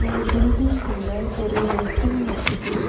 இந்த பில்டிங்குள்ள ஒரு வெஹிகுள் நிக்கிது.